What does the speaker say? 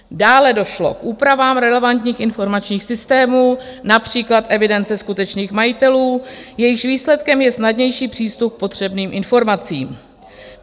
Dále došlo k úpravám relevantních informačních systémů, například evidence skutečných majitelů, jejichž výsledkem je snadnější přístup k potřebným informacím.